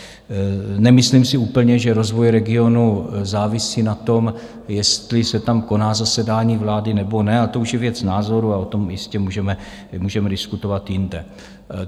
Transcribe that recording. Nemyslím si úplně, že rozvoj regionu závisí na tom, jestli se tam koná zasedání vlády, nebo ne, a to už je věc názoru a o tom jistě můžeme diskutovat jinde.